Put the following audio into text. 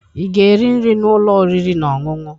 ị ga-eri nri na ụlọ oriri na ọṅụṅụ?